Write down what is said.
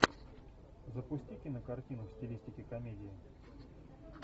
запусти кинокартину в стилистике комедии